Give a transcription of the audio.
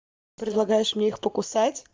предлагаешь мне их покусать